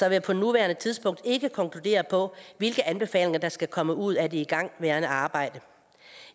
jeg på nuværende tidspunkt ikke konkludere hvilke anbefalinger der skal komme ud af det igangværende arbejde